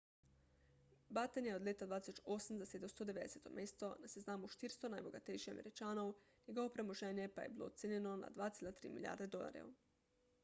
batten je leta 2008 zasedel 190 mesto na seznamu 400 najbogatejših američanov njegovo premoženje pa je bilo ocenjeno na 2,3 milijarde dolarjev